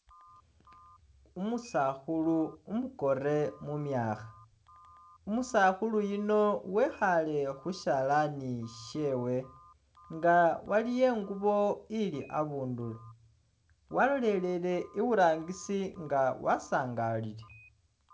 Umusakhulu umukoore mumyakha umusakhulu yuno wekhale khushalani khwewe nga waliwo ingubo ili abundulo walorelele iburangisi nga wasangalile